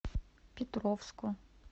петровску